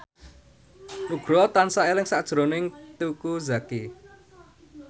Nugroho tansah eling sakjroning Teuku Zacky